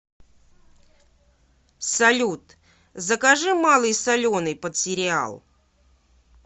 салют закажи малый соленый под сериал